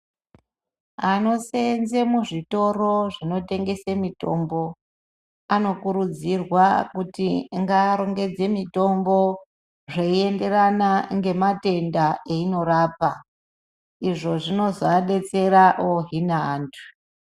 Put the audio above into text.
Anosenza muzvitoro zvinotengesa mitombo anokurudzirwa kuti ngarongedze mitombo zveienderana nematenda ainorapa izvo zvinozovadetsera ohina antu.